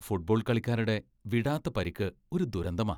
Football കളിക്കാരുടെ വിടാത്ത പരിക്ക് ഒരു ദുരന്തമാ.